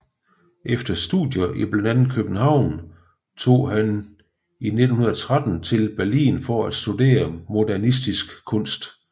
Efter studier i blandt andet København tog han 1913 til Berlin for at studere modernistisk kunst